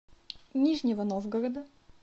нижнего новгорода